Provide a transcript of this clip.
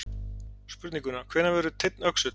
Spurninguna Hvenær verður teinn öxull?